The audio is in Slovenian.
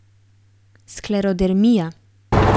Sklerodermija.